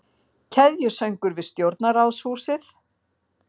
Keðjusöngur við stjórnarráðshúsið